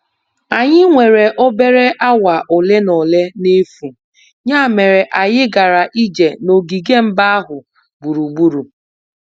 Anyị nwere obere awa ole na ole n'efu, ya mere anyị gara ije n'ogige mba ahụ gburugburu.